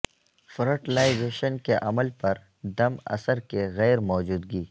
fertilisation کے عمل پر دم اثر کی غیر موجودگی